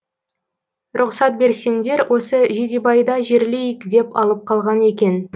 рұқсат берсеңдер осы жидебайда жерлейік деп алып қалған екен